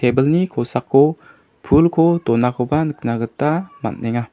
tebilni kosako pulko donakoba nikna gita man·enga.